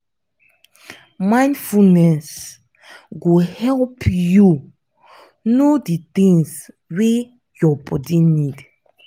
mindfulness go help you know di things wey your body need